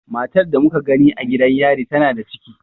Matar da muka gani a gidan yarin tana da ciki.